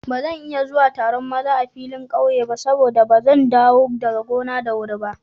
Ba zan iya zuwa Taron maza a filin ƙauye ba saboda ba zan dawo daga gona da wuri ba.